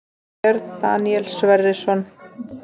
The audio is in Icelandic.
Björn Daníel Sverrisson